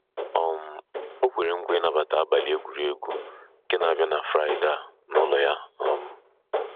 um O kwere nkwa ịnabata abalị egwuregwu nke n'abia na Fraịde a n'ụlo ya. um